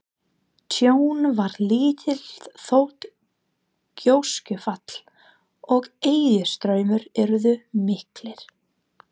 Tjón varð lítið þótt gjóskufall og eðjustraumar yrðu miklir.